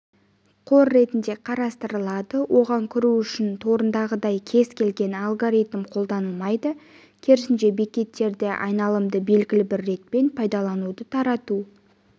қор ретінде қарастырылады оған кіру үшін торындағындай кез келген алгоритм қолданылмайды керісінше бекеттерде айналымды белгілі бір ретпен пайдалануды тарату